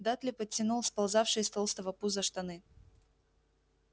дадли подтянул сползавшие с толстого пуза штаны